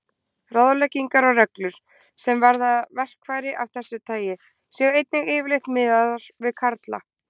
Ráðleggingar og reglur, sem varða verkfæri af þessu tagi, séu einnig yfirleitt miðaðar við karla.